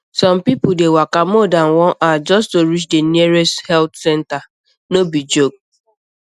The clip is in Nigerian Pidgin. some people dey waka more than one hour just to reach the nearest health center no be joke